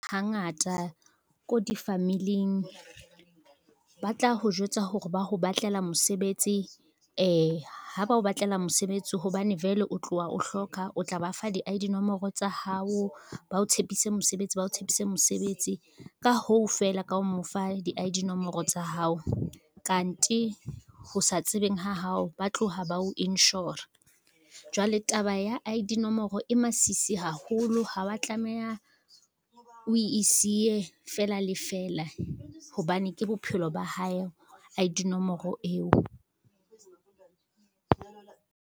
Hangata ko difamiling, ba tla ho jwetsa hore ba ho batlela mosebetsi , ha ba o batlela mosebetsi hobane vele o tlowa o hloka o tla ba fa di-I_D nomoro tsa hao bao tshepise mosebetsi bao tshepise mosebetsi. Ka hoo, feela ka ho mo fa di-I-D nomoro tsa hao kante ho sa tsebeng ha hao ba tlowa ba ho insure-a, jwale taba ya I-D nomoro e masisi haholo ha wa tlameha o e siye fela le fela, hobane ke bophelo ba hae I_D nomoro eo.